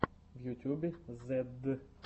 в ютубе зэдд